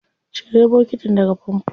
Cire bokitin daga famfo.